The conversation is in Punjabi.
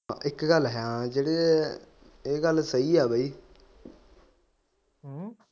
ਇੱਕ ਗੱਲ ਹੈ ਜਿਹੜੇ ਇਹ ਗੱਲ ਸਹੀ ਹੈ ਬਾਈ